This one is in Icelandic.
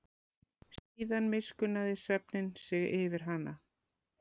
Síðan miskunnaði svefninn sig yfir hana.